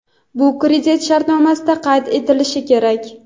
bu kredit shartnomasida qayd etilishi kerak.